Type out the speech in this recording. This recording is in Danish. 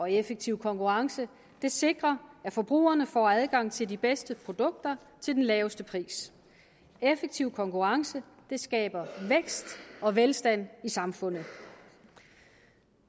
en effektiv konkurrence sikrer at forbrugerne får adgang til de bedste produkter til den laveste pris en effektiv konkurrence skaber vækst og velstand i samfundet